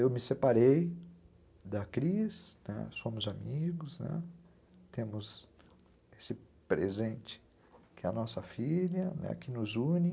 Eu me separei da Cris, somos amigos, temos esse presente que é a nossa filha, né, que nos une.